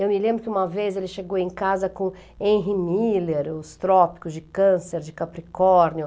Eu me lembro que uma vez ele chegou em casa com Henry Miller, Os Trópicos de Câncer, de Capricórnio.